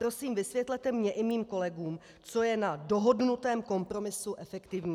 Prosím, vysvětlete mně i mým kolegům, co je na dohodnutém kompromisu efektivní.